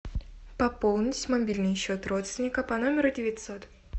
пополнить мобильный счет родственника по номеру девятьсот